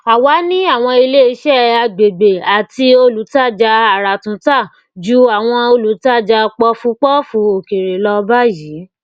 àwa ní àwọn ilé iṣẹ àgbègbè àti olùtajà àràtúntà jù àwọn olùtajà póòfù póòfù òkèèrè lọ báyìí